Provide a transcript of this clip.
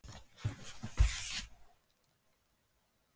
Ég hafði ekki hugmynd um hvernig við vorum þangað komnir.